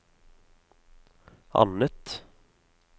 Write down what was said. annet